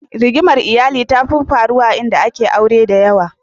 Rigimar iyali tafi faruwa a inda ake aure da yawa.